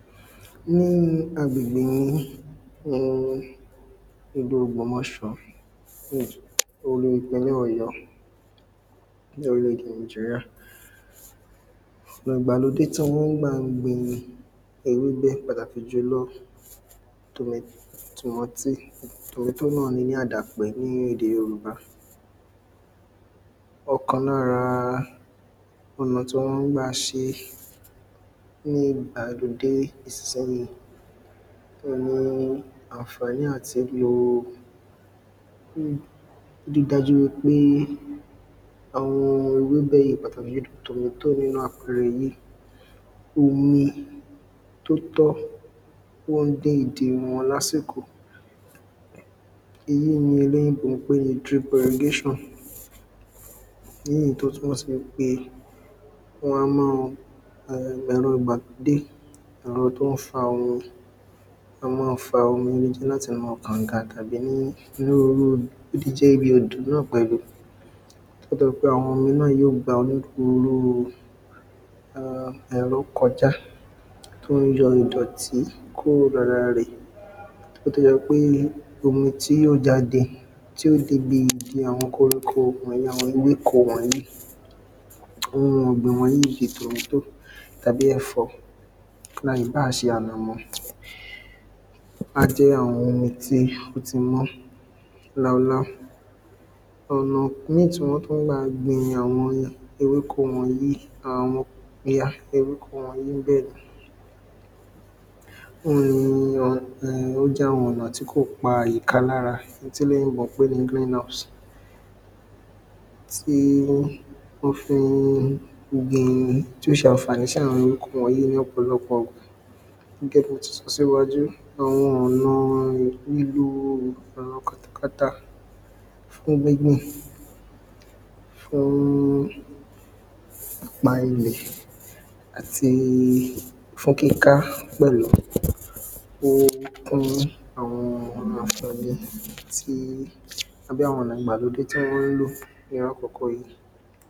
Ní agbègbè mi ni ìlú ògbómọ̀ṣọ́ Ìpínlẹ̀ Ọ̀yó ní orílẹ̀ èdè Nigeria Ọ̀nà ìgbàlódé tí a máa ń gbà ń gbin ewébẹ̀ pàtàkì jùlọ tòmá tòmọ́tì Tomatoe náà ni ní àdàpè ní èdè Yorùbá Ọ̀kan lára ọ̀nà tí wọ́n máa ń gbà ṣe é ní ìgbàlódé Àǹfàní àti lọ ri dájú wípé àwọn ewébẹ̀ yìí pàtàkì jùlọ tomatoe nínú àpẹẹrẹ yìí Omi tí ó tọ́ ó ń dé ìdí wọn ní àsìkò Ìyí ni olóyìnbó ń pè ní drip irrigation Ní ìyí tí ó túmọ̀ sí pé wọ́n á ma um ẹ̀rọ ìgbàlódé ẹ̀rọ tí ó ń fa omi wọn á máa fa omi ó lè jẹ́ láti inú kànga tàbí ní irú O lè jẹ́ ibi odò náà pẹ̀lú Àwọn omi náà yóò gba onírúurú um ẹ̀rọ kọjá tí ó ń yọ ìdọtí kúrò lára rẹ̀ Kí ó tó jẹ́ pẹ́ omi tí yóò jáde tí yóò dé ibi igi àwọn koríko àwọn ewéko wọ̀nyìí Oun ọ̀gbìn wọ̀nyìí bíi tomatoe tàbí ẹ̀fọ́ Ìbá ṣe ànànmọ́ Á jẹ́ àwọn omi tí ó tí mọ́ láúláú Ọ̀nà míì tí wọ́n tún gbà ń gbìn àwọn ewéko wọ̀nyìí Òun ni ó jẹ́ àwọn ọ̀nà tí kò pa ìka lára eléyì tí olóyìnbó pè ní greenhorse Tí wọn fi ń gbin tí ó ṣe àǹfàní sí àwọn ewéko wọ̀nyìí ní ọ̀pọ̀lọpọ̀ ìgbà Gẹ́gẹ́ bí mo tí sọ ṣíwájú àwọn ọ̀nà lílò ẹ̀rọ katakata fún gbíbìn Fún ìpa ilẹ̀ àti fún kíká pẹ̀lú Ó kún àwọn àǹfàní tí àbí àwọn ọ̀nà ìgbàlódé tí wọ́n ń lò ní irú àkókò yìí